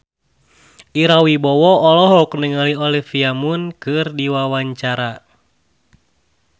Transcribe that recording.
Ira Wibowo olohok ningali Olivia Munn keur diwawancara